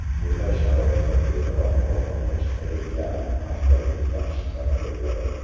Bunday sharoitda o‘zaro muvofiqlashtirilgan hamkorlik yaxshi samara beradi.